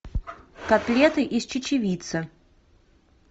котлеты из чечевицы